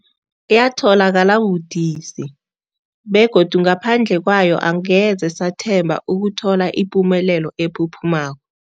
Yatholakala budisi, begodu ngaphandle kwayo angeze sathemba ukuthola ipumelelo ephuphumako.